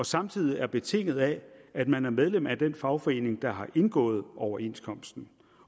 samtidig betinget af at man er medlem af den fagforening der har indgået overenskomsten